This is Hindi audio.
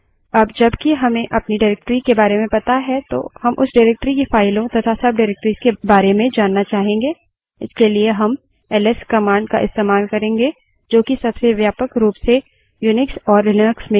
अब जब कि हमें अपनी directory के बारे में पता है तो हम उस directory की फाइलों तथा subdirectories के बारे में जानना चाहेंगे इसके लिए हम ls command का इस्तेमाल करेंगे जो कि सबसे व्यापक रूप से unix और लिनक्स में प्रयोग की जाती है